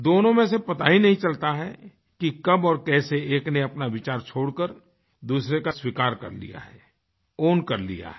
दोनों में से पता ही नहीं चलता है कि कब और कैसे एक ने अपना विचार छोड़कर दूसरे का स्वीकार कर लिया है ownकर लिया है